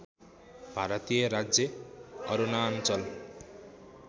भारतीय राज्य अरुणाञ्चल